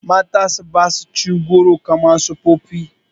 Matasa ba sa cin goro kamar na tsofaffi.